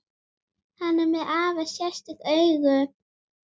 Hann er með afar sérstök augu.